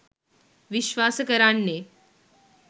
විශ්වාස කරන්නෙ.